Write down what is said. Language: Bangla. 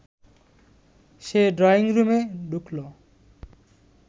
সে ড্রয়িং রুমে ঢুকল